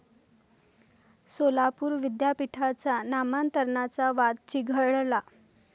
सोलापूर विद्यापीठाच्या नामांतराचा वाद चिघळला